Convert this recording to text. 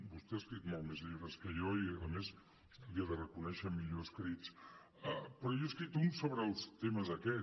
vostè ha escrit molts més llibres que jo i a més li ho he de reconèixer millor escrits però jo n’he escrit un sobre els temes aquests